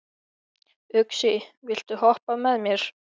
Uxi, viltu hoppa með mér?